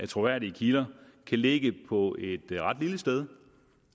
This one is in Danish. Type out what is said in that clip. troværdige kilder kan ligge på et ret lille sted